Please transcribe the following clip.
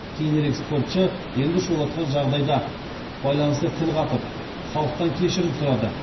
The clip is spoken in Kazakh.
кейінірек спортшы елді шулатқан жағдайда байланысты тіл қатып халықтан кешірім сұрады